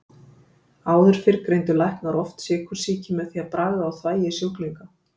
Áður fyrr greindu læknar oft sykursýki með því að bragða á þvagi sjúklinga.